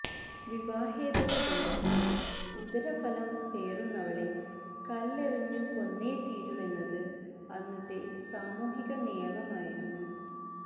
വിവാഹേതര ബന്ധത്തിന്റെ ഉദരഫലം പേറുന്നവളെ കല്ലെറിഞ്ഞു കൊന്നേ തീരൂവെന്നത് അന്നത്തെ സാമൂഹിക നിയമമായിരുന്നു